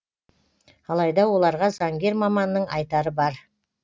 алайда оларға заңгер маманның айтары бар